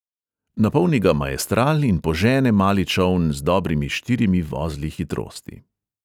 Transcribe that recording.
Napolni ga maestral in požene mali čoln z dobrimi štirimi vozli hitrosti.